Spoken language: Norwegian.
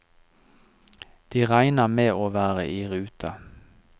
De regner med å være i rute.